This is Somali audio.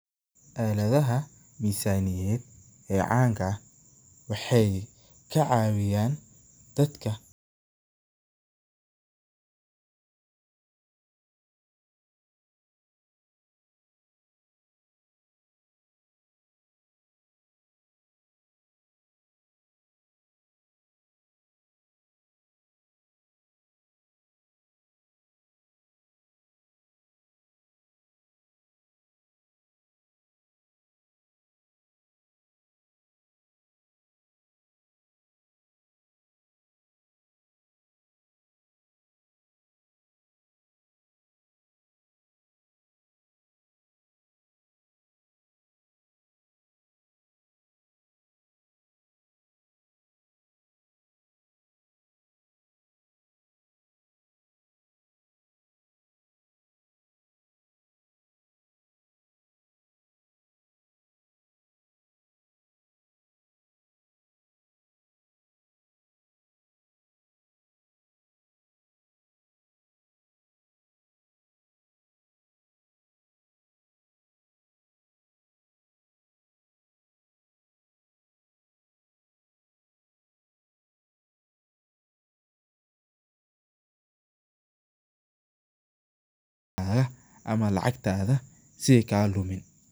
Aaladaha misaniyadeed ee canka ah waxeey ka cawiyaan dadka, ama lacagtaada si aay kaaga dumin.